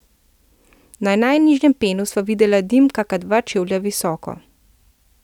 Na najnižjem penu sva videla dim kaka dva čevlja visoko.